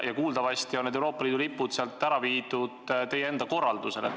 Kuuldavasti on Euroopa Liidu lipud sealt ära viidud teie enda korraldusel.